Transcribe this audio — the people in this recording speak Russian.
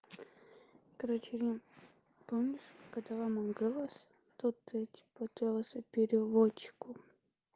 короче не помнишь которая мой голос тут дети потерялся переводчику